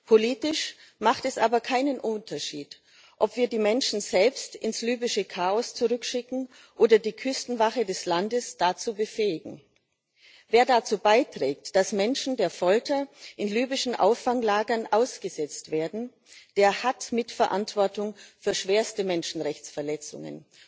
Politisch macht es aber keinen Unterschied, ob wir die Menschen selbst ins libysche Chaos zurückschicken oder die Küstenwache des Landes dazu befähigen. Wer dazu beiträgt, dass Menschen in libyschen Auffanglagern der Folter ausgesetzt werden, der hat Mitverantwortung für schwerste Menschenrechtsverletzungen.